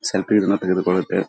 Selfie ಗಳನ್ನೂ ತೆಗೆದು ಕೊಳುತ್ತೇವೆ.